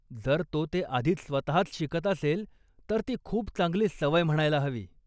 जर तो ते आधीच स्वतःच शिकत असेल, तर ती खूप चांगली सवय म्हणायला हवी.